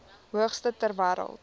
hoogste ter wêreld